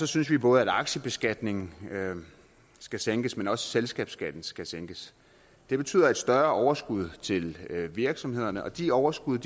synes vi både at aktiebeskatningen skal sænkes men også at selskabsskatten skal sænkes det betyder et større overskud til virksomhederne og de overskud